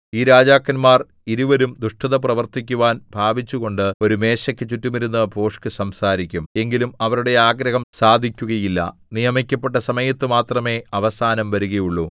ഈ രാജാക്കന്മാർ ഇരുവരും ദുഷ്ടത പ്രവർത്തിക്കുവാൻ ഭാവിച്ചുകൊണ്ട് ഒരു മേശയ്ക്കു ചുറ്റുമിരുന്ന് ഭോഷ്ക് സംസാരിക്കും എങ്കിലും അവരുടെ ആഗ്രഹം സാധിക്കുകയില്ല നിയമിക്കപ്പെട്ട സമയത്തു മാത്രമെ അവസാനം വരുകയുള്ളു